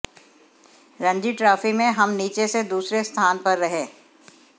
Ranji trophy में हम नीचे से दूसरे स्थान पर रहे